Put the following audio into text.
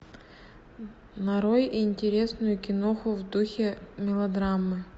нарой интересную киноху в духе мелодрамы